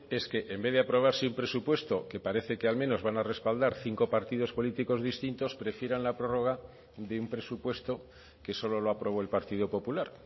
es que en vez de aprobarse un presupuesto que parece que al menos van a respaldar cinco partidos políticos distintos prefieran la prórroga de un presupuesto que solo lo aprobó el partido popular